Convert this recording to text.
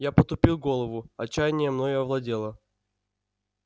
я потупил голову отчаяние мною овладело